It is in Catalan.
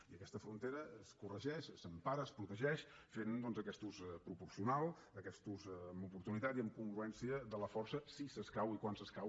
i aquesta frontera es corregeix s’empara es protegeix fent doncs aquest ús proporcional aquest ús amb oportunitat i amb congruència de la força si escau i quan escau